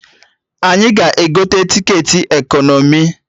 Anyị ga-egote tiketi ekọnọmi